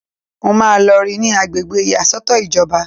Mo máa lọ rí i ní agbègbè ìyàsọ́tọ̀ ìjọba